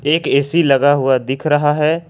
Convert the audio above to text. एक ए_सी लगा हुआ दिख रहा है।